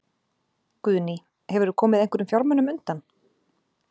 Guðný: Hefurðu komið einhverjum fjármunum undan?